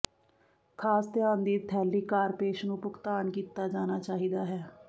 ਖਾਸ ਧਿਆਨ ਦੀ ਥੈਲੀ ਕਾਰਪੇਸ਼ ਨੂੰ ਭੁਗਤਾਨ ਕੀਤਾ ਜਾਣਾ ਚਾਹੀਦਾ ਹੈ